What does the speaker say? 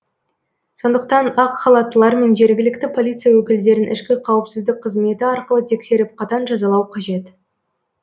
сондықтан ақ халаттылар мен жергілікті полиция өкілдерін ішкі қауіпсіздік қызметі арқылы тексеріп қатаң жазалау қажет